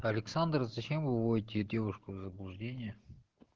александр зачем вы вводите девушку в заблуждение